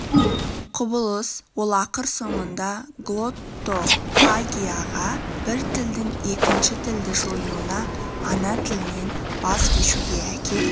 құбылыс ол ақыр соңында глоттофагияға бір тілдің екінші тілді жоюына ана тілінен баз кешуге әкеп